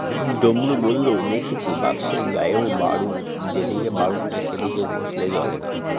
ডমরু বলল দেখেছি box -এর গায়েও বারুদ যেদিকে বারুদ নেই সেদিকে ঘষলে জ্বলে না